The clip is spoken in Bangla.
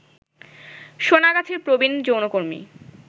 সোনাগাছির প্রবীণ যৌনকর্মী